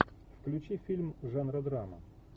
включи фильм жанра драма